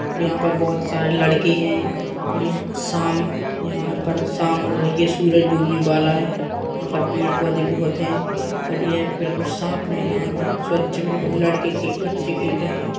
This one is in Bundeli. और यहाँ पर बोहोत सारे लड़के हैं और यहाँ साम यहाँ पर शाम हो रही है। सूरज डूबने बाला है। यहाँ पर पेड़-पौधे बोहोत हैं और यह बिल्कुल साफ मैदान है स्वच्छ बिल्कुल लड़के खे बच्चे खेल रहे हैं।